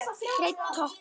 Hreinn toppur.